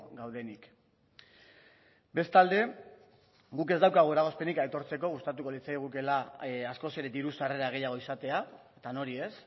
gaudenik bestalde guk ez daukagu eragozpenik aitortzeko gustatuko litzaigukeela askoz ere diru sarrera gehiago izatea eta nori ez